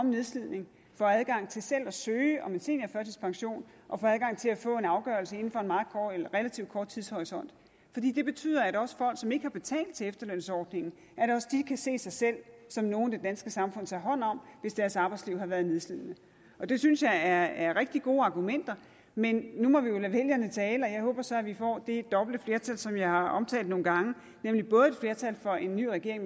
i nedslidning får adgang til selv at søge om en seniorførtidspension og få adgang til at få en afgørelse inden for en relativt kort tidshorisont det betyder at også folk som ikke har betalt til efterlønsordningen kan se sig selv som nogle det danske samfund tager hånd om hvis deres arbejdsliv har været nedslidende det synes jeg er er rigtig gode argumenter men nu må vi jo lade vælgerne tale og jeg håber så at vi får det dobbelte flertal som jeg har omtalt nogle gange nemlig både et flertal for en ny regering